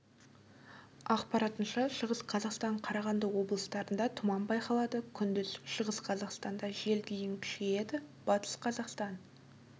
ақпаратынша шығыс қазақстан қарағанды облыстарында тұман байқалады күндіз шығыс қазақстанда жел дейін күшейеді батыс қазақстан